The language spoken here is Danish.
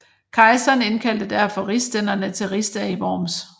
Kejseren indkaldte derfor rigsstænderne til rigsdag i Worms